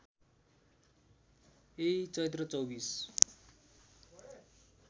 यही चैत्र २४